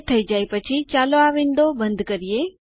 તે થઇ જાય પછી ચાલો આ વિન્ડો બંધ કરીએ